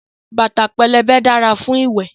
Bàtà pẹlẹbẹ dára fún ìwẹ̀.